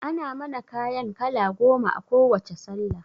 Ana mana kayan kala goma a kowacce sallah